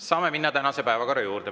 Saame minna tänase päevakorra juurde.